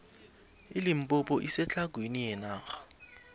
ilimpompo isetlhagwini yenarha